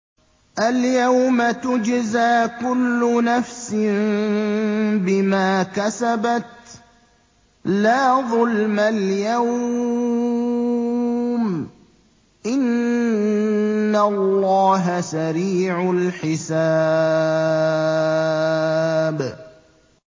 الْيَوْمَ تُجْزَىٰ كُلُّ نَفْسٍ بِمَا كَسَبَتْ ۚ لَا ظُلْمَ الْيَوْمَ ۚ إِنَّ اللَّهَ سَرِيعُ الْحِسَابِ